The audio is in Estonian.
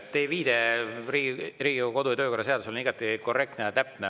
Teie viide Riigikogu kodu- ja töökorra seadusele on igati korrektne ja täpne.